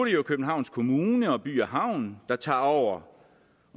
jo københavns kommune og by havn der tager over